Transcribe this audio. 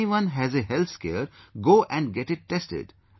If anyone has a health scare, go and get it tested